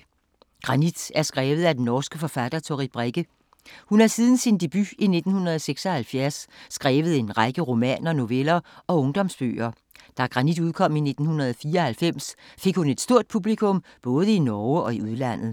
Granit er skrevet af den norske forfatter Toril Brekke. Hun har siden sin debut i 1976 skrevet en række romaner, noveller og ungdomsbøger. Da Granit udkom i 1994 fik hun et stort publikum både i Norge og i udlandet.